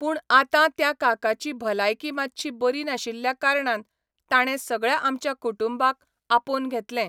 पूण आतां त्या काकाची भलायकी मातशी बरी नाशिल्ल्या कारणान ताणें सगळ्या आमच्या कुटुंबाक आपोन घेतलें.